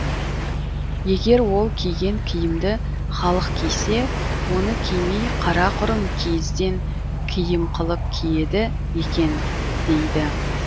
егер ол киген киімді халық кисе оны кимей қарақұрым киізден киім қылып киеді екен дейді